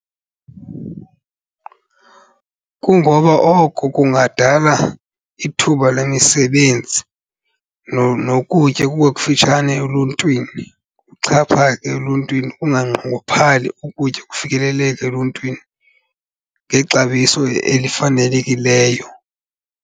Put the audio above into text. Kungoba oko kungadala ithuba lemisebenzi nokutya kube kufitshane eluntwini, kuxhaphake eluntwini kunganqongophali ukutya, kufikeleleke eluntwini ngexabiso elifanelekileyo.